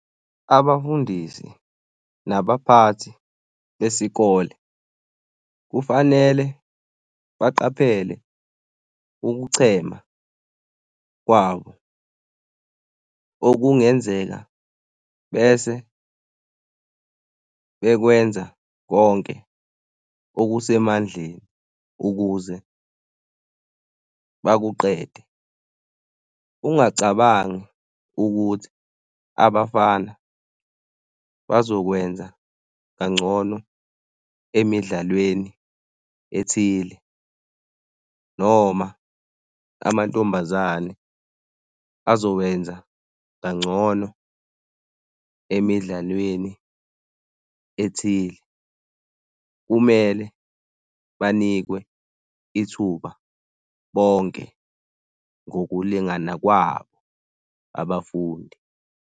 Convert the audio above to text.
Abafundisi nabaphathi besikole kufanele baqaphele ukuchema kwabo okungenzeka bese bekwenza konke okusemandleni ukuze bakuqede. Ungacabangi ukuthi abafana bazokwenza kangcono emidlalweni ethile noma amantombazane azokwenza kangcono emidlalweni ethile. Kumele banikwe ithuba bonke ngokulingana kwabo abafundi.